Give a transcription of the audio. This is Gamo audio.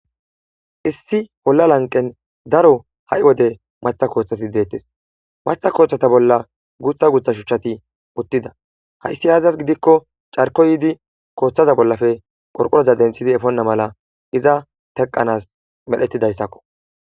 Issi bolla lanqen daro ha'i wode matha kooththati deettes. Maththa kooththata bolla gutha gutha shuchchati uttida. Hayssi aazas gidikko carko yiidi kooththaza bollafe qorqoroza denthidi efonna mala iza teqanas medhetidayssakko.